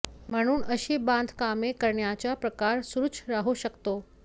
म्हणून अशी बांधकामे करण्याचा प्रकार सुरुच राहू शकतो